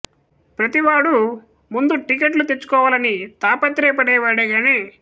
ప్రతి వాడు ముందు టికెట్లు తెచ్చుకోవాలని తాపత్రయపడే వాడే గాని